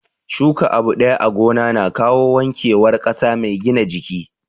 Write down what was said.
Shuka abu ɗaya a gona na kawo wanke war ƙasa mai gina jiki